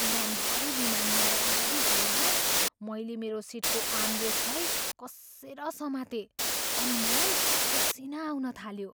उडानभरि विमान नराम्ररी हल्लँदा मैले मेरो सिटको आर्मरेस्टलाई कसेर समातेँ अनि मलाई पसिना आउन थाल्यो।